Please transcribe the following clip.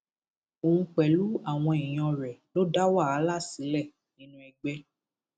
òun pẹlú àwọn èèyàn rẹ ló dá wàhálà sílẹ nínú ẹgbẹ